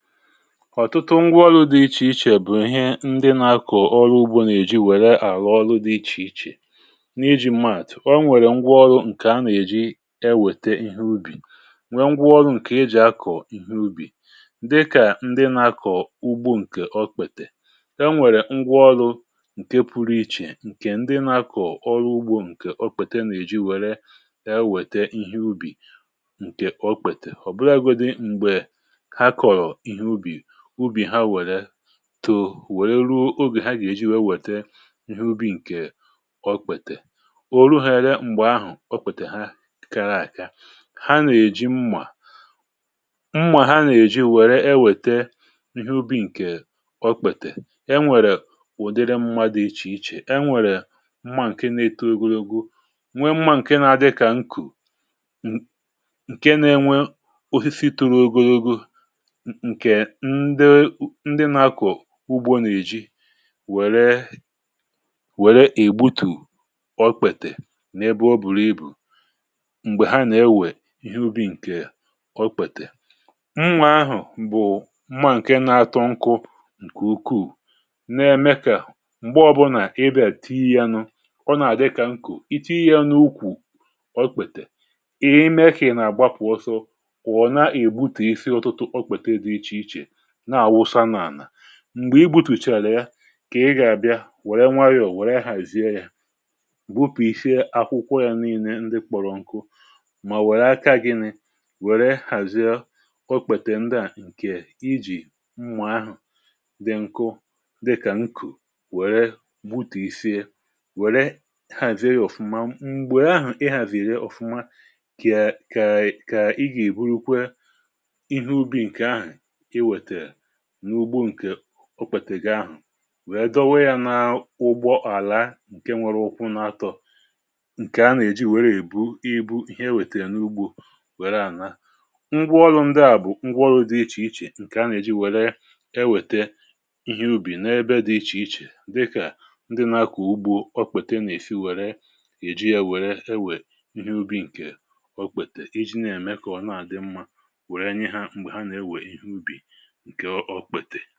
Ọ̀tụtụ ngwaọrụ̇ dị iche iche bụ̀ ihe ndị na-akọ̀ ọrụ ugbò nà-èji, wèrè àlụọlụ dị iche iche n’ịjì maàtụ̀. Ọ nwèrè ngwaọrụ nke a nà-èji e wètè ihe ubì um nwee ngwaọrụ nke a nà-èji akọ̀ ihe ubì, dịkà ndị na-akọ̀ ugbò nke ọkpètè... E nwèrè ngwaọrụ nke pụrụ iche, nke ndị na-akọ̀ ọrụ ugbò um nke ọ kpètè, nà-èji wèrè e wètè ihe ubì nke ọ kpètè. Ọ bụrụ agụ dị m̀gbè tù wèrè ruo oge ha gà-èji wee wètè ihe ubì nke ọkpàtà, o rù hàrịa. M̀gbè ahụ̀, ọkpàtà ha kara àka, ha nà-èji mmà mmà ha nà-èji, wèrè e wètè ihe ubì nke ọkpàtà. E nwèrè ùdị mmadụ̀ dị iche iche e nwèrè mmà nke na-eto ogologo, um nwee mmà nke na-adị kà nkù, nke na-enwe ọfịfị toro ogologo. Ndị nà-akọ̀ ugbò nà-èji wèrè, wèrè ìgbutù ọkpètè, n’ebe o bùrù ibu m̀gbè ha nà-ewè ihe ubì... Nke ọkpètè m nwèrè ahụ̀ bụ̀ mmà nke nà-ato nkụ, nke ukwuù, na-eme kà m̀gbè ọ bụrụ nà ị bè tíì ya nụ, ọ nà-àdịkà nkụ. Ị tíì jianụ ukwù ọ̀kpètè, ihe imekì nà-àgbapụ̀ ọsọ, kwà na-ègbutù isi ọtụtụ. M̀gbè i gbutùchàrà ya um kà i gà-àbịa wèrè nwayọ̀ wèrè hàzie ya, wụpụ, i fie akwụkwọ yà niile. Ndị kpọrọ nkù mà wèrè aka gịnị̇, wèrè hàzie ọkpètè ndịà... Nke i jì mmà ahụ̀ dị nku, dịkà nkù, wèrè mbutù i fie, wèrè hàzie ya ọfụma. um M̀gbè ahụ̀ i hàziri ọfụma, kà i gà-èbùrụ kwe ihe ubì nke ahụ̀ okpètèrè n’ugbò. Nke ọkpètè ga ahụ̀, wèe dọwe ya na ụgbọ àlà, nke nwere ụkwụ na-atọ, nke a nà-èji wèrè èbu ibu ihe, wètèrè n’ugbò, um wèe àna ngwaọrụ ndị à. Ngwaọrụ ndị à bụ̀ ngwaọrụ dị iche iche, nke a nà-èji wèrè e wètè ihe ubì n’ebe dị iche iche, dịkà ndị nà-akwụ̀ ugbò. Ọkpèta ị nà-èfi, wèrè èjì ya wèrè e wè ihe ubì nke ọkpètè, iji na-èmè kà ọ̀ na-àdị mmà... Wèrè anyi hà, m̀gbè hà na-ewè ihe ubì nke ọ̀kpètè.